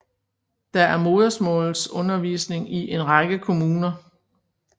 Der er modersmålsundervisning i en række kommuner